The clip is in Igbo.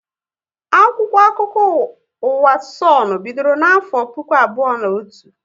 Akwụkwọ akụkọ ụwa Sonu bidoro na afọ puku abụọ na otu